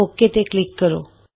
okay ਤੇ click ਕਰੋ